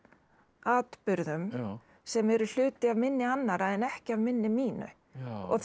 atburðum sem eru hluti af minni annarra en ekki af minni mínu og þá